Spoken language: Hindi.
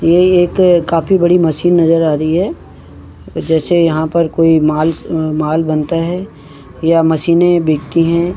ये एक काफी बड़ी मशीन नजर आ रही है जैसे यहाँ पर कोई माल अ-माल बन रहा है या मशीन बिकती हैं।